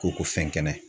Ko ko fɛn kɛnɛ